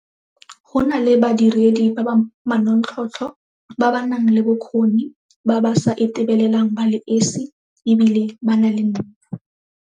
Go nna le badiredi ba ba manontlhotlho, ba ba nang le bokgoni, ba ba sa itebelelang ba le esi e bile ba na le nnete.